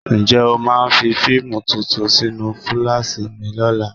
Ǹjẹ́ o máa fi fíìmù tuntun sínú fúláàṣì mi lọ́la?